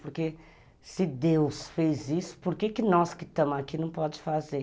Porque se Deus fez isso, por que nós que estamos aqui não podemos fazer?